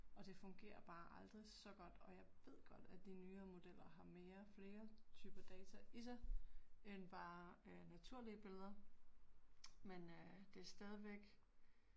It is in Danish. Og det fungerer bare aldrig så godt og jeg ved godt, at de nyere modeller har mere flere typer data i sig end bare øh naturlige billeder. Men øh det er stadigvæk